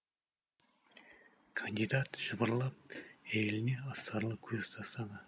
кандидат жыбырлап әйеліне астарлы көз тастады